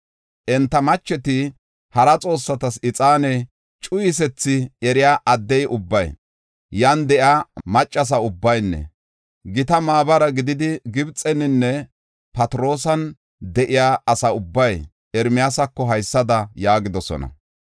Enta macheti hara xoossatas ixaane cuyisethi eriya addey ubbay, yan de7iya maccasa ubbaynne gita maabara gididi, Gibxeninne Phatiroosan de7iya asa ubbay Ermiyaasako haysada yaagidosona.